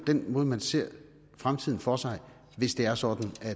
den måde man ser fremtiden for sig hvis det er sådan at